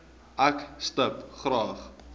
ek stip graag